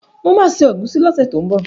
Mo ma se ẹ̀gúsí lọ́sẹ̀ tó ń bọ̀